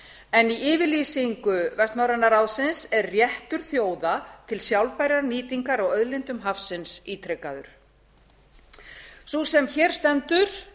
en í yfirlýsingu vestnorræna ráðsins er réttur þjóða til sjálfbærrar nýtingar á auðlindum hafsins ítrekaður sú sem hér stendur